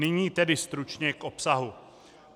Nyní tedy stručně k obsahu.